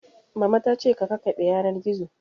Mama ta ce ka kakkaɓe yanar gizo